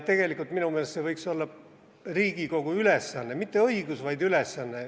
Tegelikult võiks see minu meelest olla Riigikogu ülesanne, mitte õigus, vaid ülesanne.